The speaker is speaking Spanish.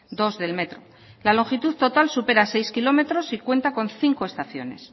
dos del metro la longitud total supera seis kilómetros y cuenta con cinco estaciones